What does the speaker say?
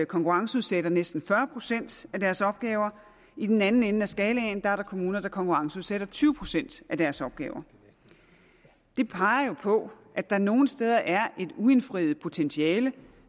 konkurrenceudsætter næsten fyrre procent af deres opgaver i den anden ende af skalaen er der kommuner der konkurrenceudsætter tyve procent af deres opgaver det peger på at der nogle steder er et uindfriet potentiale